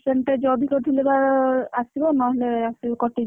Percentage ଅଧିକା ଥିଲେ ବା, ଆସିବ ନହେଲେ, କଟିଯିବ।